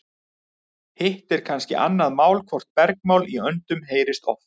Hitt er kannski annað mál hvort bergmál í öndum heyrist oft.